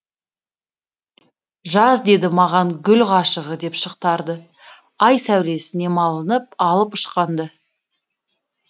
жаз деді маған гүл ғашығы деп шықтарды ай сәулесіне малынып алып ұшқанды